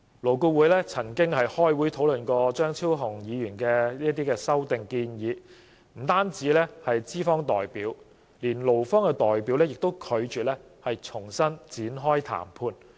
勞顧會曾召開會議討論張超雄議員的修正案，惟不僅資方代表，就連勞方代表也拒絕展開談判。